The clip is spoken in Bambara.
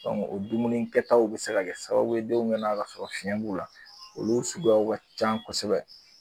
o dumunikɛtaw bi se ka sababu ye denw bina ka sɔrɔ fiɲɛ b'u la olu suguyaw ka ca kosɛbɛ